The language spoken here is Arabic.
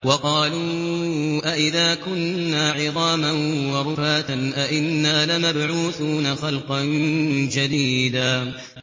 وَقَالُوا أَإِذَا كُنَّا عِظَامًا وَرُفَاتًا أَإِنَّا لَمَبْعُوثُونَ خَلْقًا جَدِيدًا